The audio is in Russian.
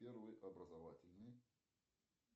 первый образовательный